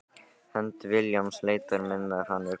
Hönd Vilhjálms leitar minnar Hann er kominn.